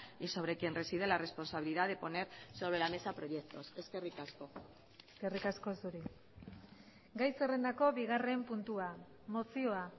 y sobre quien reside la responsabilidad de poner sobre la mesa proyectos eskerrik asko eskerrik asko zuri gai zerrendako bigarren puntua mozioa